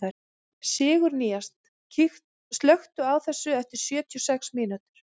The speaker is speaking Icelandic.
Sigurnýjas, slökktu á þessu eftir sjötíu og sex mínútur.